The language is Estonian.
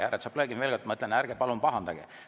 Härra Tšaplõgin, ma veel kord ütlen, ärge palun pahandage.